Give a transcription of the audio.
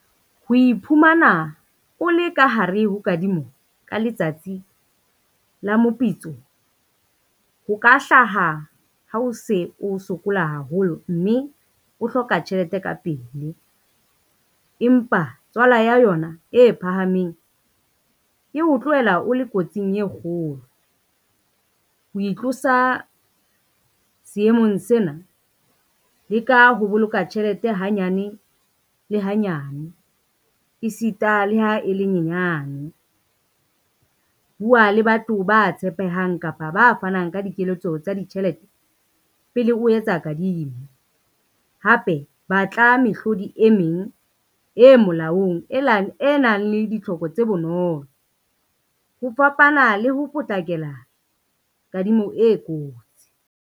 Ho iphumana o le ka hare ho kadimo ka letsatsi la mopitso, ho ka hlaha ha o se o sokola haholo mme o hloka tjhelete ka pele. Empa tswala ya yona e phahameng e o tlohela o le kotsing e kgolo, ho itlosa seemong sena, leka ho boloka tjhelete hanyane le hanyane, e sita le ha e le nyenyane. Bua le batho ba tshepehang kapa ba fanang ka dikeletso tsa ditjhelete pele o etsa kadimo, hape batla mehlodi e meng e molaong e nang le ditlhoko tse bonolo ho fapana le ho potlakela kadimo e kotsi.